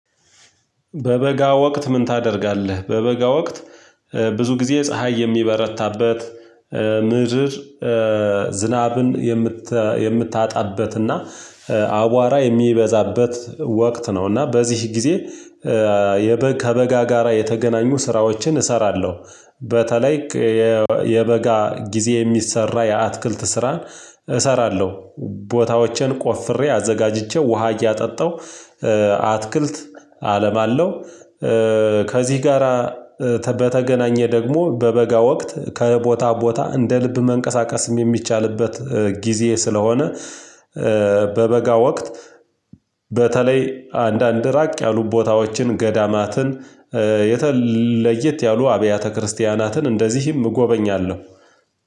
በበጋ ወቅት ምን ታደርጋለህ? በበጋ ወቅት ብዙ ጊዜ ፀሀይ የሚበረታበት ዝናብን የምታጣበትና አቧራ የሚበዛበት ወቅት ነው እና በዚህ ጊዜ የበግ ከበጋ ጋራ የተገናኙ ስራዎችን እሰራለሁ በተለይ የበጋ ጊዜ የሚሰራ የአትክልት ስራን እሰራለሁ ቦታዎችን ቆፍሬ አዘጋጅቼ ውሃ እያጠጣሁ አትክልት አለም አለው ከዚህ ጋራ ከ በተገናኘ ደግሞ በበጋ ወቅት ከቦታ ቦታ እንደ ልብ መንቀሳቀስም የሚቻልበት ጊዜ ስለሆነ በበጋ ወቅት በተለይ አንዳንድ ራቅ ያሉ ቦታዎችን ገዳማትን የተለየት ያሉ አብያተ ክርስቲያናትን እንደዚህም እጎበኛለሁ